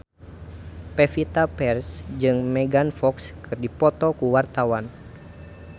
Pevita Pearce jeung Megan Fox keur dipoto ku wartawan